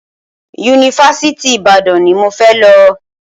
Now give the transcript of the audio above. Yunifásitì Ìbàdàn ni mo fẹ́ lọ.